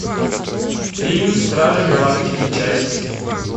фильм стражи галактики часть